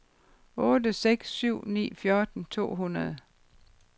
otte seks syv ni fjorten to hundrede